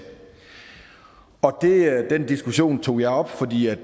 og den diskussion tog jeg op fordi jeg